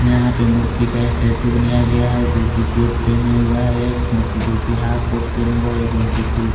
यहां पे मूर्ति का स्टेच्यू बनाया गया है जोकि कोट पहने हुआ है एक मूर्ति जोकि हॉफ कोट पहने हुआ है एक मूर्ति फुल --